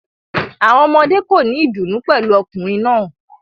Awọn ọmọde ko ni idunnu pẹlu ọkunrin naa